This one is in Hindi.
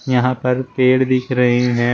यहां पर पेड़ दिख रहे हैं।